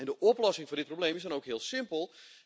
De oplossing voor dit probleem is dan ook heel simpel.